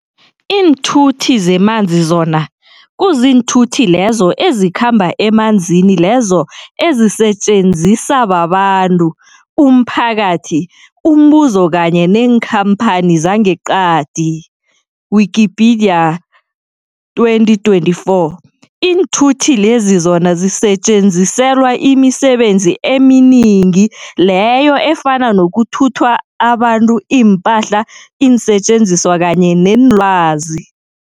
Iinthuthi zemanzi zona, kuziinthuthi lezo ezikhamba emanzini lezo ezisetjenziswaa babantu, umphakathi, umbuzo kanye neenkhamphani zangeqadi, Wikipedia 2024. Iinthuthi lezi zona zisetjenziselwa imisebenzi eminingi leyo efana nokuthuthwa abantu, iimpahla, iinsetjenziswa kanye neenlwazi.